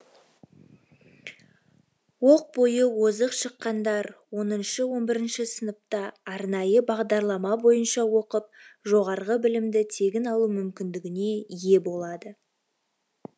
оқ бойы озық шыққандар оныншы он бірінші сыныпта арнайы бағдарлама бойынша оқып жоғарғы білімді тегін алу мүмкіндігіне ие болады